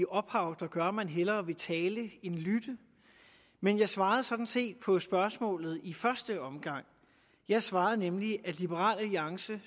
ophav der gør at man hellere vil tale end lytte men jeg svarede sådan set på spørgsmålet i første omgang jeg svarede nemlig at liberal alliance